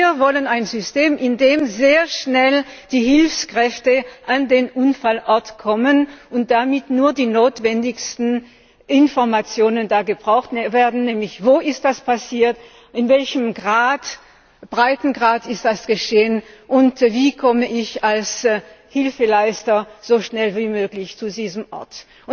Wir wollen ein System, in dem sehr schnell die Hilfskräfte an den Unfallort kommen und damit nur die notwendigsten Informationen gebraucht werden, nämlich Wo ist das passiert, in welchem Breitengrad ist das geschehen, und wie komme ich als Hilfeleister so schnell wie möglich zu diesem Ort?